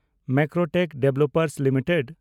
Macrotech Developers limited